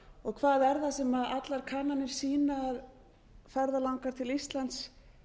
og hvað er það sem allar kannanir sýna að ferðalangar til íslands